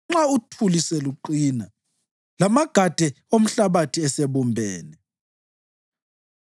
nxa uthuli seluqina lamagade omhlabathi esebumbene?